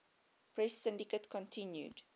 press syndicate continued